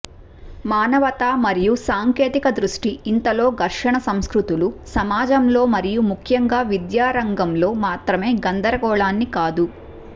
మానవతా మరియు సాంకేతిక దృష్టి ఇంతలో ఘర్షణ సంస్కృతులు సమాజంలో మరియు ముఖ్యంగా విద్యా రంగంలో మాత్రమే గందరగోళాన్ని కాదు